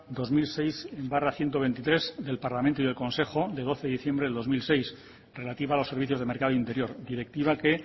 dos mil seis barra ciento veintitrés del parlamento y el consejo del doce de diciembre del dos mil seis relativa a los servicios de mercado interior directiva que